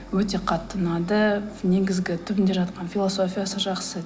өте қатты ұнады негізгі түбінде жатқан философиясы жақсы